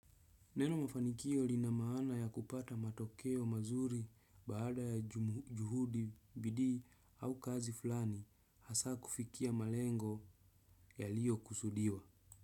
Neno mafanikio lina maana ya kupata matokeo mazuri baada ya juhudi bidii au kazi fulani hasa kufikia malengo yaliyokusudiwa.